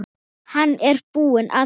Hann er búinn að því.